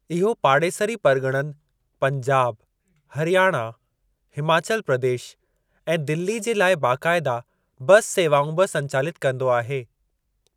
इहो पाड़ेसरी परगि॒णनि पंजाब, हरियाणा, हिमाचल प्रदेश ऐं दिल्ली जे लाइ बक़ायदा बस सेवाऊं बि संचालितु कंदो आहे।